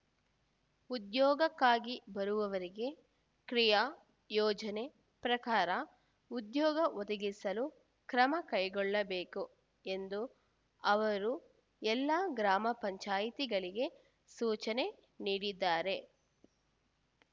ಉದ್ಯೋಗಕ್ಕಾಗಿ ಬರುವವರಿಗೆ ಕ್ರಿಯಾ ಯೋಜನೆ ಪ್ರಕಾರ ಉದ್ಯೋಗ ಒದಗಿಸಲು ಕ್ರಮ ಕೈಗೊಳ್ಳಬೇಕು ಎಂದು ಅವರು ಎಲ್ಲಾ ಗ್ರಾಮ ಪಂಚಾಯಿತಿಗಳಿಗೆ ಸೂಚನೆ ನೀಡಿದ್ದಾರೆ